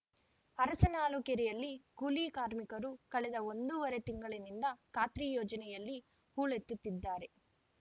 ಅರಸನಾಳು ಕೆರೆಯಲ್ಲಿ ಕೂಲಿ ಕಾರ್ಮಿಕರು ಕಳೆದ ಒಂದೂವರೆ ತಿಂಗಳಿನಿಂದ ಖಾತ್ರಿ ಯೋಜನೆಯಲ್ಲಿ ಹೂಳೆತ್ತುತ್ತಿದ್ದಾರೆ